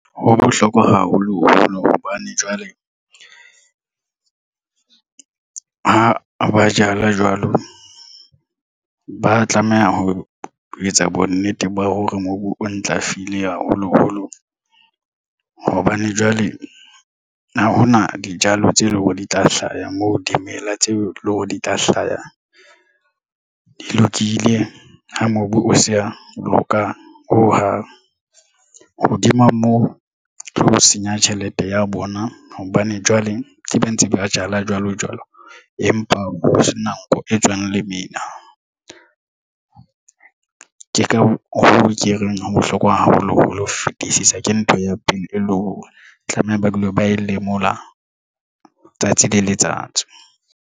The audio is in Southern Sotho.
Ho bohlokwa haholoholo hobane jwale ha ba jala jwalo ba tlameha ho etsa bonnete ba hore mobu o ntlafile haholoholo hobane jwale ha hona dijalo tse leng hore di tla hlaha moo dimela tseo leng hore di tla hlaha di lokile ha mobu o se ka loka ho hang hodima moo ke ho senya tjhelete ya bona hobane jwale ke ba ntse ba jala jwalo jwalo, empa ho se na nko e tswang lemina. Ke ka hoo ke reng. Ho bohlokwa haholo ho fetisisa ke ntho ya pele e le hore tlameha ba dule ba e lemolwa tsatsi le letsatsi.